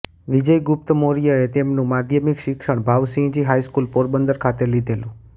વિજયગુપ્ત મૌર્યએ તેમનું માધ્યમિક શિક્ષણ ભાવસિંહજી હાઈસ્કૂલ પોરબંદર ખાતે લીધેલું